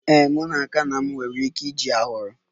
Ee, m n'aka na m nwere ike iji a hụrụ.